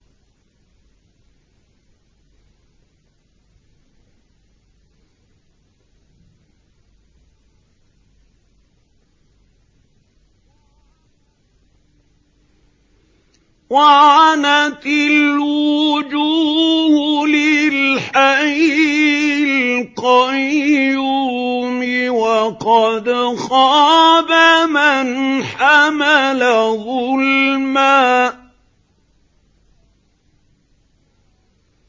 ۞ وَعَنَتِ الْوُجُوهُ لِلْحَيِّ الْقَيُّومِ ۖ وَقَدْ خَابَ مَنْ حَمَلَ ظُلْمًا